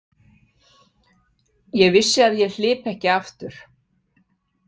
Ég vissi að ég hlypi ekki aftur.